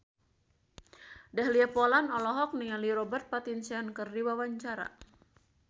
Dahlia Poland olohok ningali Robert Pattinson keur diwawancara